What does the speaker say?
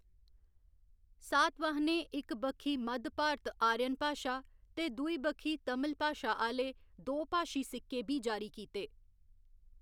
सातवाहनें इक बक्खी मद्ध भारत आर्यन भाशा ते दूई बक्खी तमिल भाशा आह्‌‌‌ले दोभाशी सिक्के बी जारी कीते।